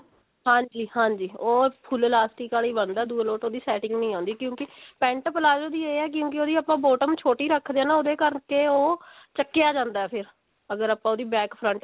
ਹਾਂਜੀ ਹਾਂਜੀ ਉਹ full elastic ਵਾਲਾ ਹੀ ਬਣਦਾ ਕਿਉਂਕਿ ਦੂਏ ਲੋਟ ਉਹਦੀ setting ਨਹੀਂ ਆਉਂਦੀ ਕਿਉਂਕਿ pent palazzo ਦੀ ਇਹ ਹੈ ਕਿਉਂਕਿ ਉਹਦੀ bottom ਆਪਾਂ ਛੋਟੀ ਰੱਖਦੇ ਹਾਂ ਨਾ ਉਹਦੇ ਕਰਕੇ ਉਹ ਚੱਕਿਆ ਜਾਂਦਾ ਫੇਰ ਅਗਰ ਆਪਾਂ ਉਹਦੀ back front same